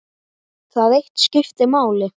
Það eitt skipti máli.